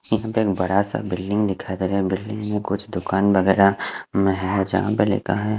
यहा पे एक बड़ा सा बिल्डिंग दिखाई दे रहा है बिल्डिंग में कुछ दुकान वगेरा में है झा पे लिखा है।